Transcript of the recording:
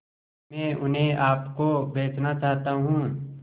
मैं उन्हें आप को बेचना चाहता हूं